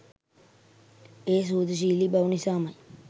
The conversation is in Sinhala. ඒ සුහදශීලීබව නිසාමයි.